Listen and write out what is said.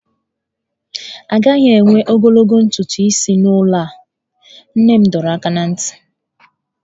A gaghị ewe ogologo ntutu isi n'ụlọ a! Nne m dọrọ aka ná ntị.